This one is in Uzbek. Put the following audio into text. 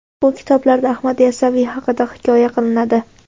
Bu kitoblarda Ahmad Yassaviy haqida hikoya qilinadi.